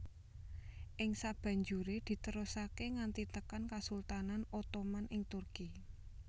Ing sabanjuré diterusaké nganti tekan kasultanan Ottoman ing Turki